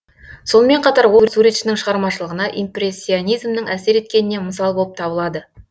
сонымен қатар ол суретшінің шығармашылығына импрессионизмнің әсер еткеніне мысал болып табылады